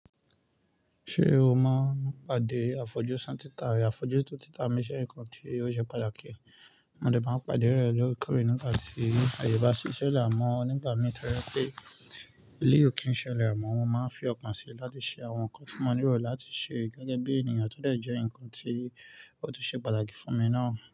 Ṣé o mọ pàdé àfojúsùn títa rẹ̀? Àfojúsùn títa mi ṣe ń kan tí ó ṣe pàtàkì, mo dẹ̀ bá pàdé rẹ̀ lórí kọ̀rì nígbà tí àyè bá ṣiṣẹ́ lẹ̀ mọ́ nígbà mìíràn torí pé léyò kì í ṣẹlẹ̀ mọ́, wọ́n máa ń fi ọkàn si láti ṣe àwọn nǹkan tí wọ́n rò láti ṣe gẹ́gẹ́ bí ènìyàn tó jẹ́ ǹkan tí ó ti ṣe pàtàkì fún mi náà.